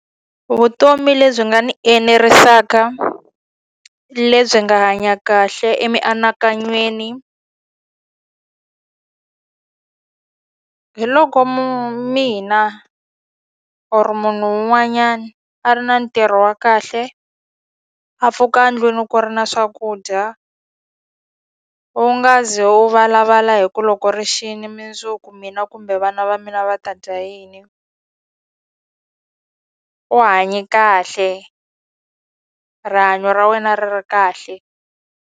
Vutomi lebyi nga ni enerisaka, lebyi nga hanya kahle emianakanyweni hi loko mina or-o munhu un'wanyani a ri na ntirho wa kahle, a pfuka endlwini ku ri na swakudya, u nga ze wu valavala hi ku loko ri xile mundzuku mina kumbe vana va mina va ta dya yini. U hanye kahle, rihanyo ra wena ri ri kahle.